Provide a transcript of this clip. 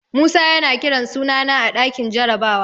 Musa yana kiran sunana a ɗakin jarabawa.